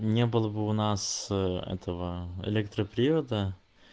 не было бы у нас этого электропривода